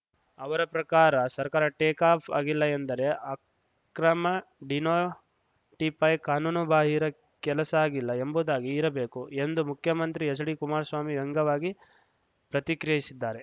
ಅವರ ಪ್ರಕಾರ ಸರ್ಕಾರ ಟೇಕ್‌ ಆಫ್‌ ಆಗಿಲ್ಲ ಎಂದರೆ ಅಕ್ರಮ ಡಿನೋಟಿಫೈ ಕಾನೂನು ಬಾಹಿರ ಕೆಲಸ ಆಗಿಲ್ಲ ಎಂಬುದಾಗಿ ಇರಬೇಕು ಎಂದು ಮುಖ್ಯಮಂತ್ರಿ ಎಚ್‌ಡಿ ಕುಮಾರಸ್ವಾಮಿ ವ್ಯಂಗ್ಯವಾಗಿ ಪ್ರತಿಕ್ರಿಯಿಸಿದ್ದಾರೆ